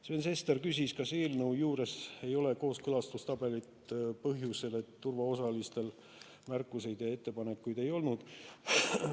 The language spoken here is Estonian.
Sven Sester küsis, kas eelnõu juures ei ole kooskõlastustabelit põhjusel, et turuosalistel märkusi ja ettepanekuid ei olnud.